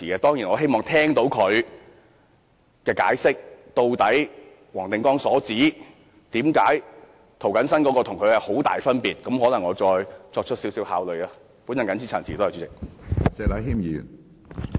當然，我希望聽到他解釋，黃定光議員所指涂謹申議員的修正案與他的修正案之間的很大分別究竟為何，然後再作考慮。